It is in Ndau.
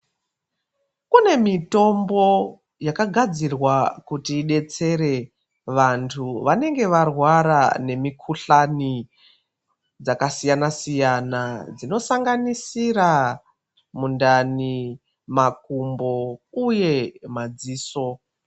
Kunemitombo yakagadzirwa kuti idetsere vantu vanenge varwara nemikhuhlani dzakasiyana siyana, dzinosanganisira mundani, makumbo uye madziso.